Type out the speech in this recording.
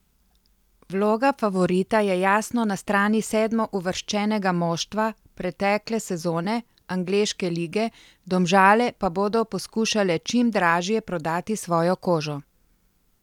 Vloga favorita je jasno na strani sedmouvrščenega moštva pretekle sezone angleške lige, Domžale pa bodo poskušale čim dražje prodati svojo kožo.